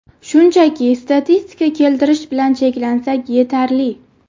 Shunchaki statistika keltirish bilan cheklansak, yetarli.